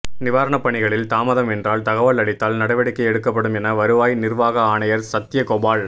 நிவாரணப் பணிகளில் தாமதம் என்றால் தகவல் அளித்தால் நடவடிக்கை எடுக்கப்படும் என வருவாய் நிர்வாக ஆணையர் சத்யகோபால்